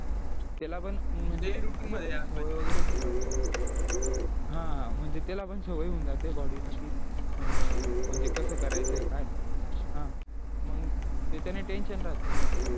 त्याला पण म्हणजे हा म्हणजे त्याला पण सवय होऊन जाते body ला की अं म्हणजे कसं करायचंय काय मग त्याच्याने tension राहत नाही मग